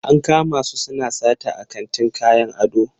An kama su suna sata a kantin kayan ado.